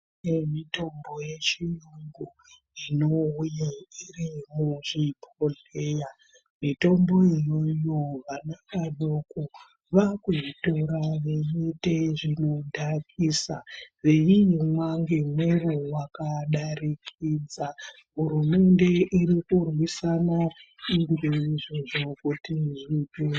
Kune mitombo yechiyungu, inouya irimuchibhodhleya. Mitombo iyoyo, vana vadoko vakuitora veiite zvinodhakisa, veindomwa ngemwero wakadarikidza, hurumende irikurwisana ngeizvozvo kuti zvipere.